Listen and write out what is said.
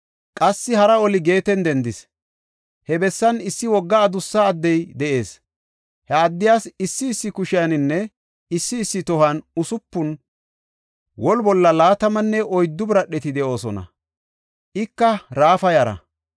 Qassi hara oli Geeten dendis. He bessan issi wogga adussa addey de7ees. He addiyas issi issi kushiyaninne issi issi tohuwan usupun, woli bolla laatamanne oyddu biradheti de7oosona. Ika Raafa yara.